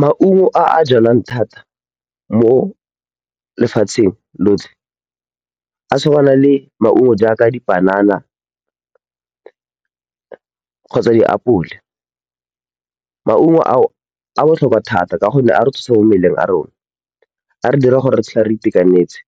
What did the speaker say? Maungo a a jwalwang thata mo lefatsheng lotlhe a tshwana le maungo a a jaaka dipanana kgotsa diapole. Maungo ao a botlhokwa thata ka gonne a re thusa mo mmeleng ya rona, a re dira gore re tshele re itekanetse,